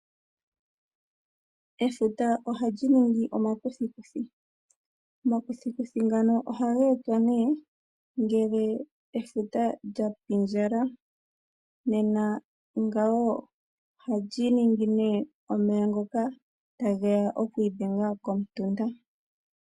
Efuta oha li ningi omakuthikuthi, omakuthikuthi ngano oha ga etwa ne ngele efuta lya pindjala, nena ngawo oha li ningi ne omeya ngoka ta geya oku idenga komutunda.